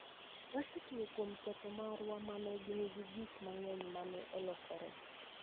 wasetiyo kuom ketho marwa ma ne nigi gik mang'eny ma ne olokore.